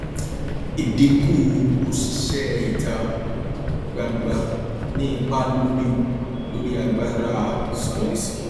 ìdinku òṣìṣẹ ìta gbangba ní ipa lórí lórí agbára san gbèsè